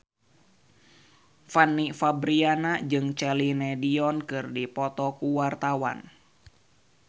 Fanny Fabriana jeung Celine Dion keur dipoto ku wartawan